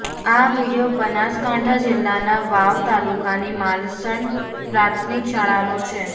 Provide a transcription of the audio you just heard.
આ વીડિયો બનાસકાંઠા જિલ્લાના વાવ તાલુકાની માલસણ પ્રાથમિક શાળાનો છે